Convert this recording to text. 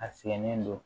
A sɛgɛnen don